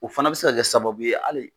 O fana be se ka kɛ sababu ye ali